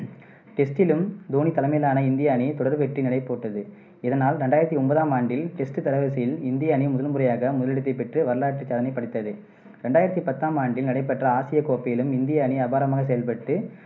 test லும் தோனி தலைமையிலான இந்திய அணி தொடர் வெற்றி நடைபோட்டது. இதனால் ரெண்டாயிரத்தி ஒன்பதாம் ஆண்டில், test தரவரிசையில் இந்திய அணி முதல்முறையாக முதலிடத்தைப் பிடித்து வரலாற்றுச் சாதனை படைத்தது. ரெண்டாயிரத்தி பத்தாம் ஆண்டில் நடைபெற்ற ஆசியப் கோப்பையிலும் இந்திய அணி அபாரமாகச் செயல்பட்டு,